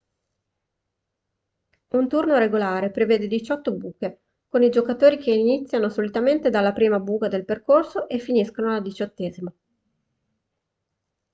un turno regolare prevede diciotto buche con i giocatori che iniziano solitamente dalla prima buca del percorso e finiscono alla diciottesima